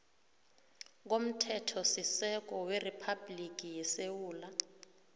komthethosisekelo weriphabhligi yesewula